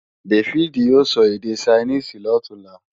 Dáfídì ó sọ èdè Ṣainíìsì lọ̀túnla